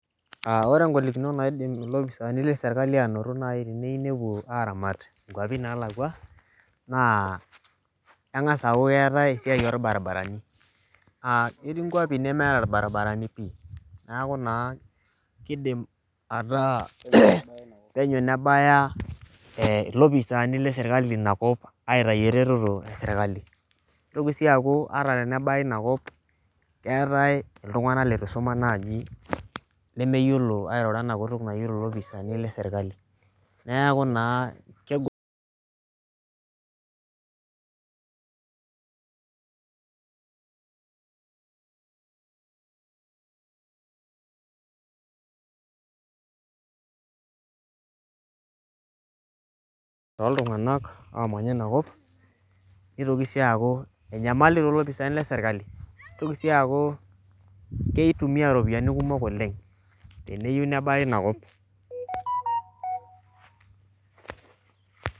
Ore ngolikinot naidim nai ilopisaani lorpolisi teneyieu nepuo aramat inkuapi naalakwa naa engas aaku keetai esiai olbaribarani Keetai ingwapi nemeeta ilbaribarani naa keidim ataa penyo nebaya ilopisaani lorpolisi aabaya inakop aitayu eretoro esirkali nitoki sii aaku ata tenebaya inakop keetai iltunganak leitu isoma lemeyiolo airori ilopisaani leserkali Niaku naa kegol toltungak oomanya inakop nitoki sii aaku enyamali toolopisaani leserkali nitoki sii aaku keitumia iropiani kumok oleng teneyieu nebaya inakop